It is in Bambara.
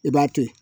I b'a to ye